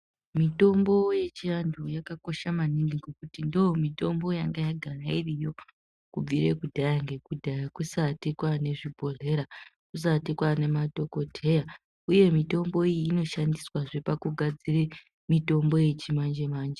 Mitombo yechiantu yakakosha maningi ngokuti ndoomitombo yanga yagara iriyo kubvire kudhaya ngekudhaya kusati kwaanezvibhohlera, kusati kwaane madhogodheya. Uye mitombo iyi inoshandiswazve pakugadzire mitombo yechimanje-manje